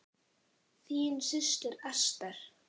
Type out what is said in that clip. Þín systir, Ester.